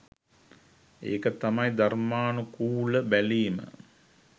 එක තමයි ධර්මානුකුල බැලීම.